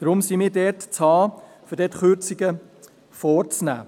Deshalb sind wir zu haben, wenn es darum geht, dort Kürzungen vorzunehmen.